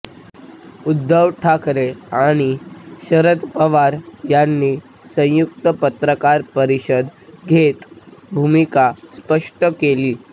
उद्धव ठाकरे आणि शरद पवार यांनी संयुक्त पत्रकार परिषद घेत भूमिका स्पष्ट केली